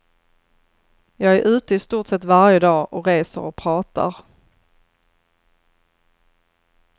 Jag är ute i stort sett varje dag och reser och pratar.